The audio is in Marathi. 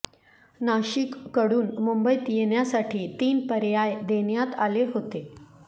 नाशिककडून मुंबईत येण्यासाठी तीन पर्य़ाय देण्यात आले होते